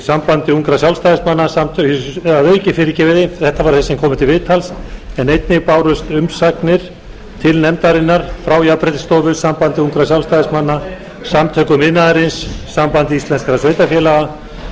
sambandi ungra sjálfstæðismanna að auki þetta voru þeir sem komu til viðtals en einnig bárust umsagnir til nefndarinnar frá jafnréttisstofu sambandi ungra sjálfstæðismanna samtökum iðnaðarins sambandi íslenskum sveitarfélaga